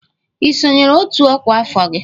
Ị sonyeere otu ọkwa afọ gị?